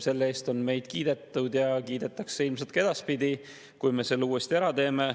Selle eest on meid kiidetud ja kiidetakse ilmselt ka edaspidi, kui me selle uuesti ära teeme.